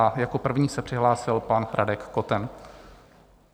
A jako první se přihlásil pan Radek Koten.